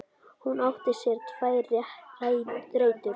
Hún átti sér tvær rætur.